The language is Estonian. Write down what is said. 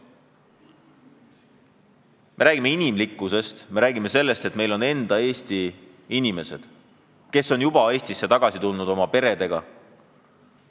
Me räägime inimlikkusest, me räägime sellest, et meil on Eesti oma inimesed, kellest paljud on juba Eestisse tagasi tulnud oma peredega.